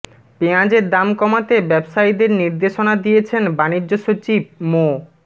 পেঁয়াজের দাম কমাতে ব্যবসায়ীদের নির্দেশনা দিয়েছেন বাণিজ্য সচিব মো